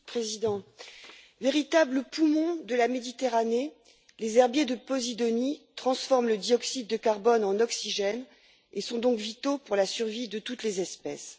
Monsieur le Président, véritables poumons de la Méditerranée, les herbiers de posidonie transforment le dioxyde de carbone en oxygène et sont donc vitaux pour la survie de toutes les espèces.